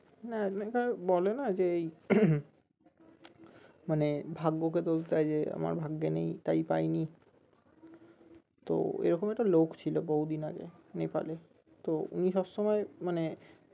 না মানে ধরো বলে না যে এই মানে ভাগ্যকে দোষ দেয় যে আমার ভাগ্যে নেই তাই পাই নি তো এরকম একটা লোক ছিল বহুদিন আগে নেপালে তো উনি সবসময় মানে